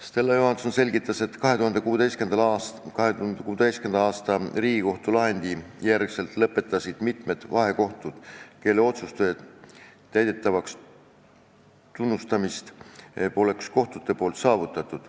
Stella Johanson selgitas, et 2016. aasta Riigikohtu lahendi järel lõpetas tegevuse mitu vahekohut, kelle otsuste täidetavaks tunnustamist kohtute poolt poleks saavutatud.